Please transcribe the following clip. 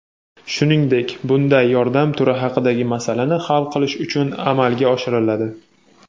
shuningdek bunday yordam turi haqidagi masalani hal qilish uchun amalga oshiriladi.